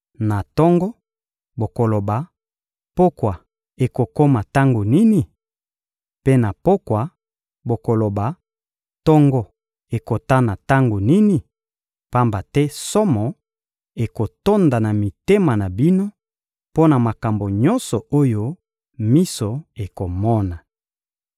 Na tongo, bokoloba: «Pokwa ekokoma tango nini?» Mpe na pokwa, bokoloba: «Tongo ekotana tango nini?» Pamba te somo ekotonda na mitema na bino mpo na makambo nyonso oyo miso ekomona.